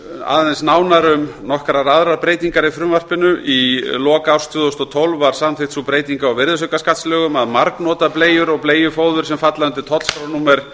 aðeins nánar um nokkrar aðrar breytingar í frumvarpinu í lok árs tvö þúsund og tólf var samþykkt sú breyting á virðisaukaskattslögum að margnota bleiur og bleiufóður sem falla undir tollskrárnúmer